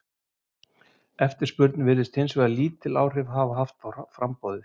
Eftirspurn virðist hins vegar lítil áhrif hafa á framboðið.